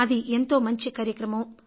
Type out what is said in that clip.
అది ఎంతో మంచి కార్రక్రమం